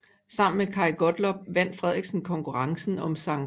Sammen med Kaj Gottlob vandt Frederiksen konkurrencen om Skt